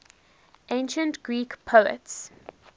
ancient greek poets